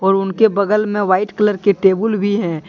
और उनके बगल में व्हाइट कलर के टेबुल भी है।